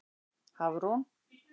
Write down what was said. Hafrún